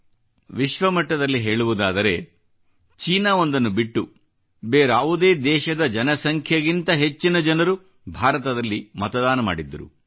ಆದರೆ ವಿಶ್ವಮಟ್ಟದಲ್ಲಿ ಹೇಳುವುದಾದರೆ ಚೀನಾ ಒಂದನ್ನು ಬಿಟ್ಟು ಭಾರತದಲ್ಲಿ ಬೇರಾವುದೇ ದೇಶದ ಜನಸಂಖ್ಯೆಗಿಂತ ಹೆಚ್ಚಿನ ಜನರು ಮತದಾನ ಮಾಡಿದ್ದರು